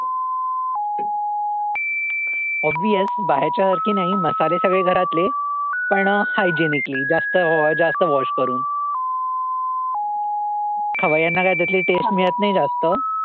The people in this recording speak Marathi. Obvious बाहेच्या सारखी नाही मसाले सगळे घरातले पण hygienically जास्त जास्त wash करून हा ह्यांना काही taste मिळत नाही जास्त